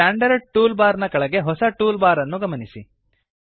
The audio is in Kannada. ಸ್ಟ್ಯಾಂಡರ್ಡ್ ಟೂಲ್ ಬಾರ್ ನ ಕೆಳಗೆ ಹೊಸ ಟೂಲ್ ಬಾರ್ ಅನ್ನು ಗಮನಿಸಿ